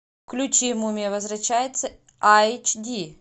включи мумия возвращается айч ди